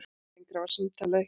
Lengra varð símtalið ekki.